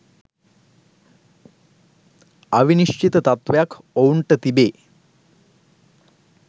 අවිනිශ්චිත තත්වයක් ඔවුන්ට තිබේ.